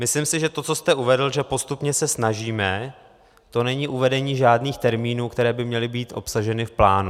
Myslím si, že to, co jste uvedl, že postupně se snažíme, to není uvedení žádných termínů, které by měly být obsaženy v plánu.